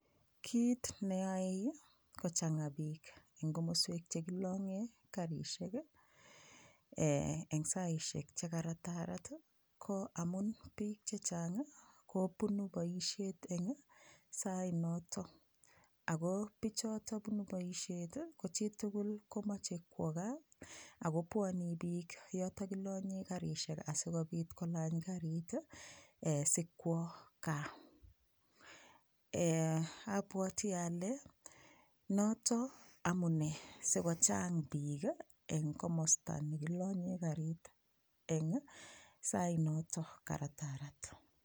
Kiit neyoei kochangaa piik eng komoswek chekilonge Karishek eng saishek che karatarat ko amun piik chechang kopuni boishet eng sainoto ako pichoto punu boishet kochitugul kimachei kwo kaa ako pwonii piik yoto kilonye karishek asikopiit kolany karit sikwo kaa apwoti ale noto amunee sikochang piik eng komosta nekilonye karit eng sainoto karatarat.